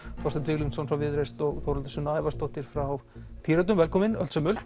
Þorsteinn Víglundsson frá Viðreisn og Þórhildur Sunna Ævarsdóttir frá Pírötum velkomin